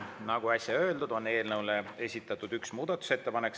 Nagu äsja öeldud, on eelnõu kohta esitatud üks muudatusettepanek.